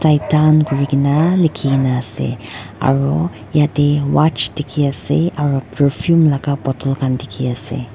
kuri kena likhina ase aru yate watch dikhi ase aru perfume laka bottle khan dikhi ase.